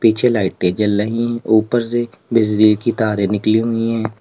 पीछे लाइटें जल रही ऊपर से बिजली की तारे निकली हुई हैं।